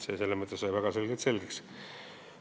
Nii et see sai väga selgeks.